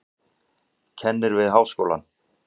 Kennir við háskólann.